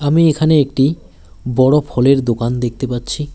আমি এখানে একটি বড়ো ফলের দোকান দেখতে পাচ্ছি।